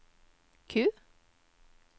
Q